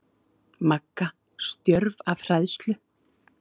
Magga stjörf af hræðslu.